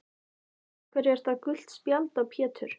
Af hverju er það gult spjald á Pétur?